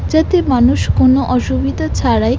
যাতে মানুষ কোনো অসুবিধা ছাড়াই--